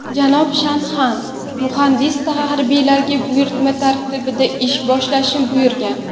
Janob Shanaxan muhandis harbiylarga buyurtma tarkibida ish boshlashni buyurgan.